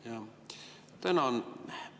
Jah, tänan!